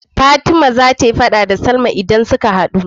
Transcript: Fatima zata yi faɗa da salma idan suka hadu